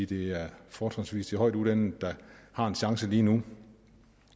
det fortrinsvis er de højtuddannede der har en chance lige nu